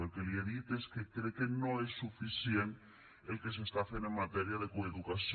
el que li he dit és que crec que no és suficient el que s’està fent en matèria de coeducació